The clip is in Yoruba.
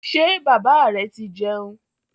Ṣé bàbá rẹ ti jẹun?